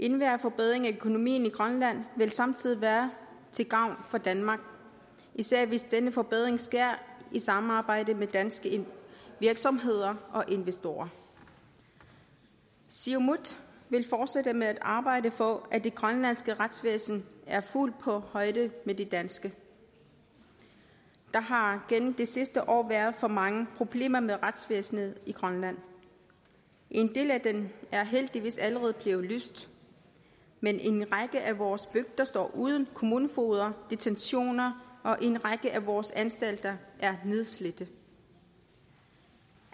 enhver forbedring af økonomien i grønland vil samtidig være til gavn for danmark især hvis denne forbedring sker i samarbejde med danske virksomheder og investorer siumut vil fortsætte med at arbejde for at det grønlandske retsvæsen er fuldt på højde med det danske der har gennem det sidste år været for mange problemer med retsvæsenet i grønland en del af dem er heldigvis allerede blevet løst men en række af vores bygder står uden kommunefogeder og detentioner og en række af vores anstalter er nedslidte